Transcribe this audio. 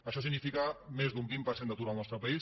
això significa més d’un vint per cent d’atur al nostre país